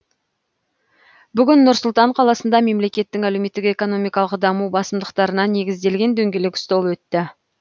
бүгін нұр сұлтан қаласында мемлекеттің әлеуметтік экономикалық даму басымдықтарына негізделген дөңгелек стол өтті